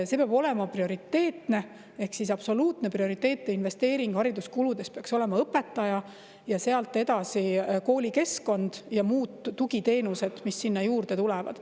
See peab olema prioriteetne, ehk siis absoluutne prioriteet ja investeeringu hariduskuludes peaks olema õpetaja, ja sealt edasi koolikeskkond ja tugiteenused, mis sinna juurde tulevad.